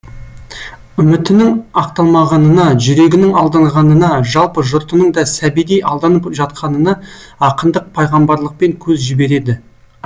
үмітінің ақталмағанына жүрегінің алданғанына жалпы жұртының да сәбидей алданып жатқанына ақындық пайғамбарлықпен көз жібереді